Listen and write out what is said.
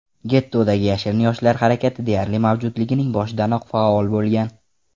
Gettodagi yashirin yoshlar harakati deyarli mavjudligining boshidanoq faol bo‘lgan.